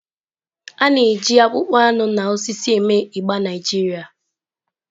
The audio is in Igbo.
A na-eji akpụkpọ anụ na osisi eme igba Naijiria.